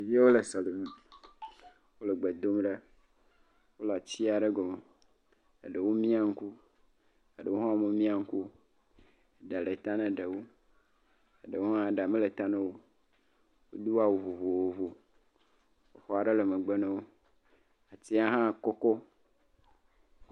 Ɖeviwo le sɔlime, wole gbe dom, wole atiwo aɖe gɔme, eɖewo mia ŋku, eɖewo hã womemia ŋku, eɖa le ta ne ɖewo, eɖewo hã ɖa mele ta ne wo, wodo awu vovovo, aƒe aɖe hã le megbe na wo, atia hã kɔkɔ